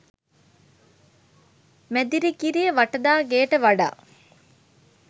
මැදිරිගිරිය වටදා ගෙයට වඩා